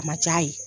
A ma ja ye